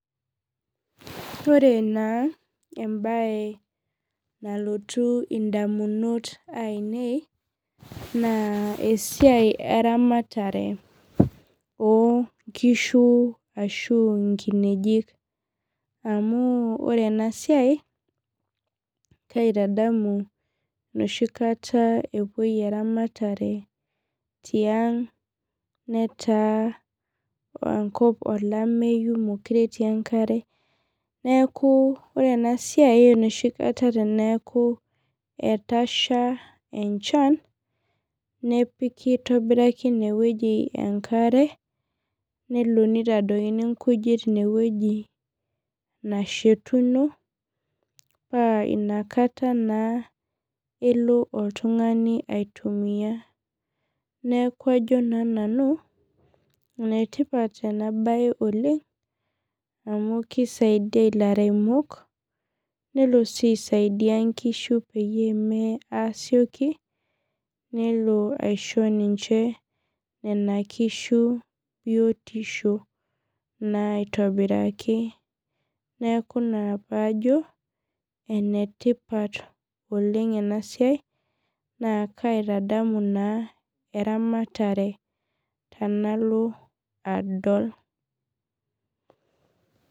Ore naa embaye nalotu indamunot aainei naa esiai Eramatare oonkishu ashuu inkineji amu ore ena siai kaitatadamu enoshi kata epuo Eramatare tianga netaa enkop olameyu mekure etii enkare neeku ore enoshikata etasha tiang neeku meekure etii enkare nelo neitadokini inkujit inewueji nashetuno nelo oltung'ani aitumia neeku ajo naa nanu enetipat ena baye oleng amu keisaidia ilairemok nelo sii aisaidia inkishu pee meye aasioki nelo aisidia inkishu biotisho naaitobiraki neeku ina paajo enetipat oleng ena siai naa kaitadamu naa Eramatare tenalo adol